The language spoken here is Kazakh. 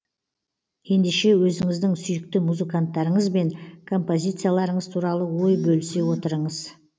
ендеше өзіңіздің сүйікті музыканттарыңыз бен композицияларыңыз туралы ой бөлісе отырыңыз